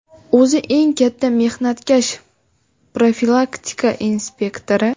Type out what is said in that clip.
O‘zi eng katta mehnatkash - profilaktika inspektori.